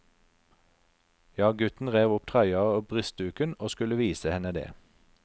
Ja, gutten rev opp trøya og brystduken, og skulle vise henne det.